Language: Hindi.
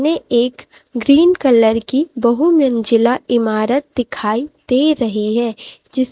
ये एक ग्रीन कलर की बहुमंजिला ईमारत दिखाई दे रही है जिस--